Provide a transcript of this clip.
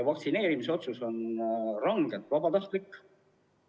Vaktsineerimisotsus on rangelt vabatahtlik.